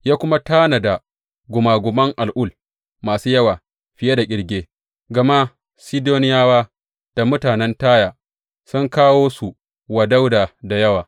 Ya kuma tanada gumaguman al’ul masu yawa fiye da ƙirge, gama Sidoniyawa da mutanen Taya sun kawo su wa Dawuda da yawa.